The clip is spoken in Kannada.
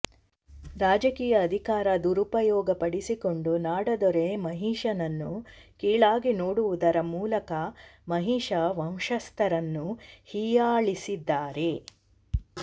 ರಾಜಕೀಯ ಅಧಿಕಾರ ದುರುಪಯೋಗಪಡಿಸಿಕೊಂಡು ನಾಡದೊರೆ ಮಹಿಷನನ್ನು ಕೀಳಾಗಿ ನೋಡುವುದರ ಮೂಲಕ ಮಹಿಷ ವಂಶಸ್ಥರನ್ನು ಹೀಯಾಳಿಸಿದ್ದಾರೆ